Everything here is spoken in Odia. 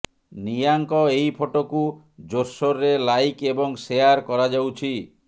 ନିଆଙ୍କ ଏହି ଫଟୋକୁ ଜୋରସୋରରେ ଲାଇକ୍ ଏବଂ ସେୟାର କରାଯାଉଛି